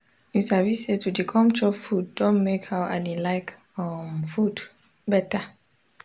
u sabi say to de com chop food don make how i de like um food beta